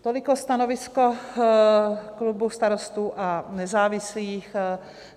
Toliko stanovisko klubu Starostů a nezávislých.